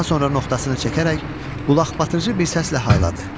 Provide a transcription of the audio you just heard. Daha sonra noxtasını çəkərək qulaqbatırıcı bir səslə hayladı.